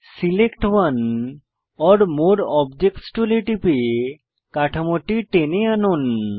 select one or more objects টুলে টিপে কাঠামোটি টেনে আনুন